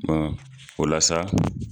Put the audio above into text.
o la sa